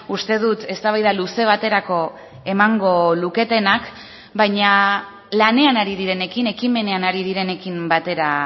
uste dut eztabaida luze baterako emango luketenak baina lanean ari direnekin ekimenean ari direnekin batera